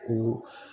O